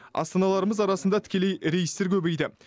астаналарымыз арасында тікелей рейстер көбейді